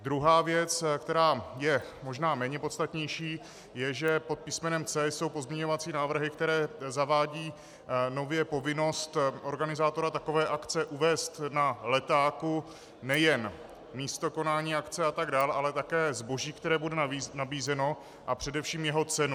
Druhá věc, která je možná méně podstatnější, je, že pod písmenem C jsou pozměňovací návrhy, které zavádějí nově povinnost organizátora takové akce uvést na letáku nejen místo konání akce a tak dál, ale také zboží, které bude nabízeno, a především jeho cenu.